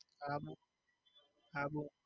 Abu Abu.